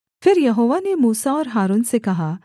फिर यहोवा ने मूसा और हारून से कहा